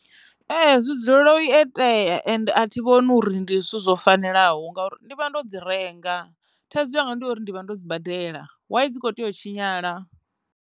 Ee, zwi dzulela u i tea ende a thi vhoni uri ndi zwithu zwo fanelaho ngauri ndi vha ndo dzi renga thaidzo yanga ndi uri ndi vha ndo dzi badela why dzi kho tea u tshinyala.